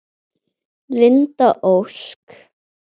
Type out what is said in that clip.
Linda Ósk.